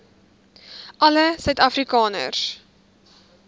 alle suid afrikaners